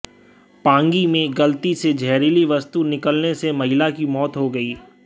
पांगी में गलती से जहरीली वस्तु निगलने से महिला की मौत हो गई